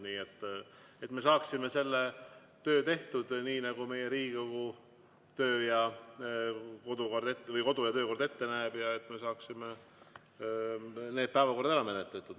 et me saaksime selle töö tehtud, nii nagu meie Riigikogu kodu- ja töökord ette näeb, ja et me saaksime need päevakorrad ära menetletud.